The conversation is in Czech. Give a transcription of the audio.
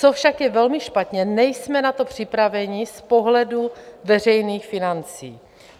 Co však je velmi špatně, nejsme na to připraveni z pohledu veřejných financí.